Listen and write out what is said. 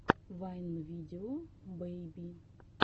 вайн видео бэйби